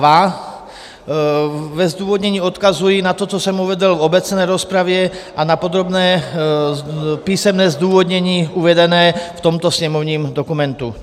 Ve zdůvodnění odkazuji na to, co jsem uvedl v obecné rozpravě a na podrobné písemné zdůvodnění uvedené v tomto sněmovním dokumentu.